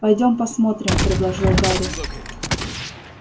пойдём посмотрим продолжал гарри